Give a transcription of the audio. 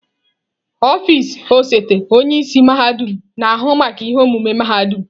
Ọfịs osote onye isi mahadum na-ahụ maka ihe omume mahadum.